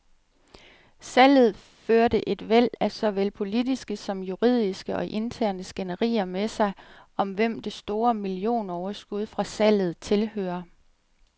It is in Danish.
Salget førte et væld af såvel politiske som juridiske og interne skænderier med sig, om hvem det store millionoverskud fra salget tilhører.